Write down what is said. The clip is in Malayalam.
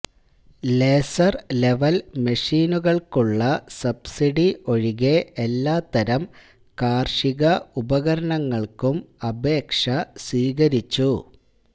ലേസർ ലെവൽ മെഷീനുകൾക്കുള്ള സബ്സിഡി ഒഴികെ എല്ലാത്തരം കാർഷിക ഉപകരണങ്ങൾക്കും അപേക്ഷ സ്വീകരിച്ചു